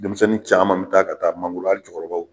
Denmisɛnnin caman mi taa ka taa mangorola jukɔrɔlaw